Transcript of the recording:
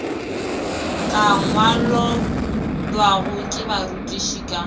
ka ngwalollwago ke barutiši ka